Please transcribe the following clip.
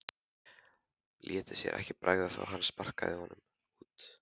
Léti sér ekki bregða þó að hann sparkaði honum út.